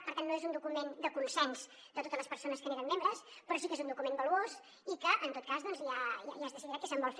per tant no és un document de consens de totes les persones que n’eren membres però sí que és un document valuós i en tot cas ja es decidirà què se’n vol fer